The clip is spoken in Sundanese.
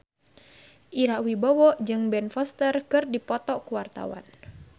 Ira Wibowo jeung Ben Foster keur dipoto ku wartawan